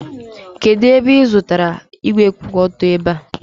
kedu ebe ị zụtara igwe kwụ otu ebe